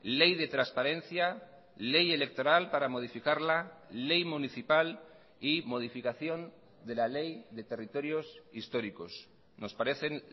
ley de transparencia ley electoral para modificarla ley municipal y modificación de la ley de territorios históricos nos parecen